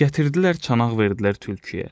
Gətirdilər çanaq verdilər tülküyə.